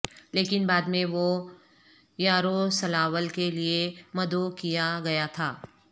لیکن بعد میں وہ یاروسلاول کے لئے مدعو کیا گیا تھا